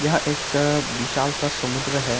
यह एक बिशाल सा समुद्र हैं।